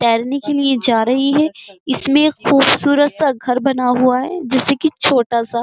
तैरने के लिए जा रही है। इसमें ख़ूबसूरत सा घर बना हुआ है जैसे कि छोटा सा।